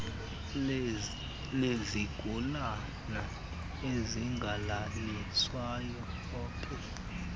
lezigulana ezingalaliswayo opd